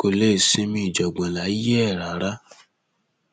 kò lè sinmi ìjàngbọn láyé ẹ rárá